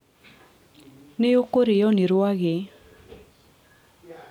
nĩũkũrĩo nĩ rwagĩ